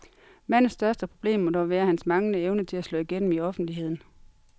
Mandens største problem må dog være hans manglende evne til at slå igennem i offentligheden.